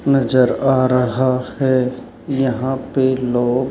नजर आ रहा है यहां पे लोग--